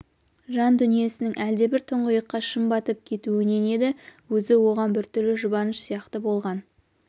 жан дүнисінің әлдебір тұңғиыққа шым батып кетуінен еді өзі оған біртүрлі жұбаныш сияқты болған